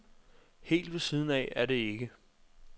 Helt ved siden af er det ikke.